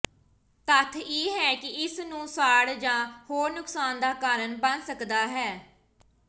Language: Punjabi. ਤੱਥ ਇਹ ਹੈ ਕਿ ਇਸ ਨੂੰ ਸਾੜ ਜ ਹੋਰ ਨੁਕਸਾਨ ਦਾ ਕਾਰਨ ਬਣ ਸਕਦਾ ਹੈ